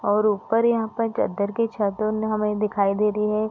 और ऊपर यहाँ पर चद्दर की छत बने हमें दिखाई दे रही हैं।